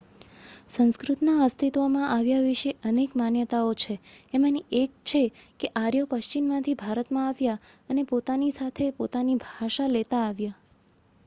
સંસ્કૃતના અસ્તિત્વમાં આવ્યા વિશે અનેક માન્યતાઓ છે એમાંની એક છે કે આર્યો પશ્ચિમમાંથી ભારતમાં આવ્યા અને પોતાની સાથે પોતાની ભાષા લેતા આવ્યા